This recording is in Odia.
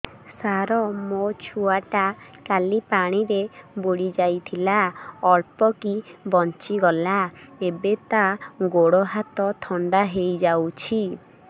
ସାର ମୋ ଛୁଆ ଟା କାଲି ପାଣି ରେ ବୁଡି ଯାଇଥିଲା ଅଳ୍ପ କି ବଞ୍ଚି ଗଲା ଏବେ ତା ଗୋଡ଼ ହାତ ଥଣ୍ଡା ହେଇଯାଉଛି